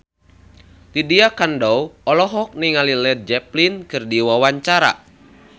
Lydia Kandou olohok ningali Led Zeppelin keur diwawancara